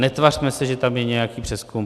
Netvařme se, že tam je nějaký přezkum.